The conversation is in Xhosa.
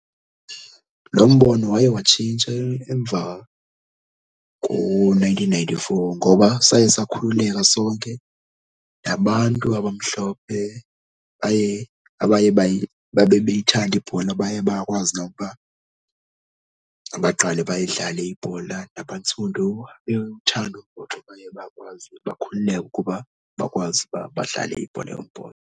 Lo mbono waye watshintsha emva ko-nineteen ninety-four ngoba saye sakhululeka sonke nabantu abamhlophe baye abaye babe beyithanda ibhola baye bakwazi nokuba baqale bayidlale ibhola nabantsundu. Bewuthanda umbhoxo baye bakwazi bakhululeka ukuba bakwazi ukuba badlale ibhola yombhoxo.